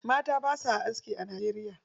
Mata basa aski a Najeriya.